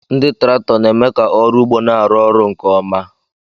Ndị traktọ na-eme ka ọrụ ugbo na-arụ ọrụ nke ọma.